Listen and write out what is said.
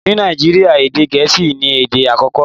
Ní Nàìjíríà, èdè gẹ̀ẹ́sì ni èdè àkọ́kọ́.